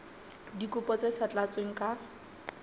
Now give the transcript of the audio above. dikopo tse sa tlatswang ka